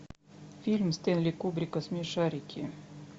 фильм стэнли кубрика смешарики